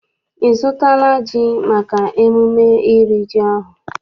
Ị zụtala ji maka emume iri ji ọhụụ?